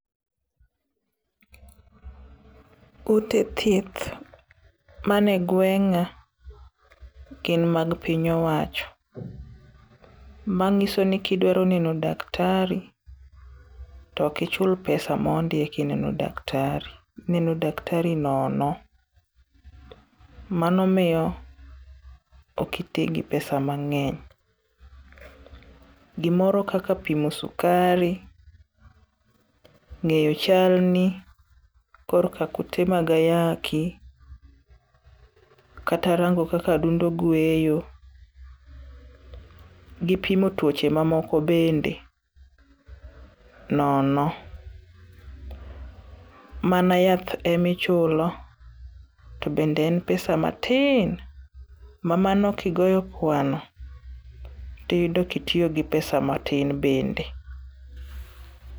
Ute thieth mane gweng'a gin mag piny owacho. Mang'isoni kidwaro neno daktari to ok ichul pesa mondi kineno daktari. Ineno daktari nono. Mano miyo ok iti gi pesa mang'eny . Gimoro kaka pimo sukari ,ng'e chalni, koro ka kute mag ayaki. Kata rango kaka adundo gweyo gi pimo tuoche mamoko bende nono. Mana yath emichulo tobende en pesa matin, ma mano kigoyo kwano tiyudo kitiyo gi pesa matin bende.